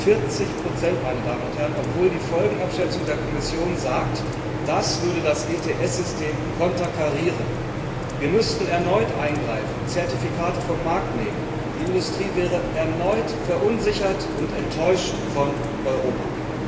40 obwohl die Folgenabschätzung der Kommission sagt, das würde das ETS System konterkarieren. Wir müssten erneut eingreifen, Zertifikate vom Markt nehmen, die Industrie wäre erneut verunsichert und enttäuscht von Europa.